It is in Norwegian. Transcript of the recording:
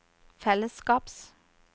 fellesskaps